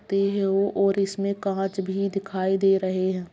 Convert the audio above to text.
और इसमे कांच भी दिखाई दे रहे हैं।